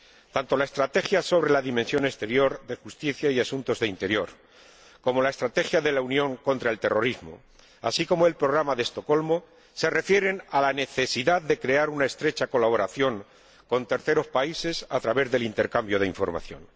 Tanto la estrategia sobre la dimensión exterior de Justicia y Asuntos de Interior como la estrategia de la Unión contra el terrorismo, así como el Programa de Estocolmo, se refieren a la necesidad de crear una estrecha colaboración con terceros países a través del intercambio de información.